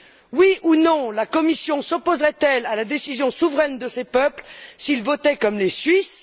Oui ou non, la Commission s'opposerait elle à la décision souveraine de ces peuples s'ils votaient comme les Suisses?